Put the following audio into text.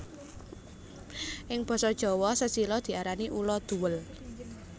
Ing basa Jawa sesilia diarani ulo duwél